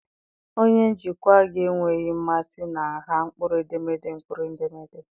Onye njikwa gị enweghị mmasị na nha mkpụrụedemede mkpụrụedemede.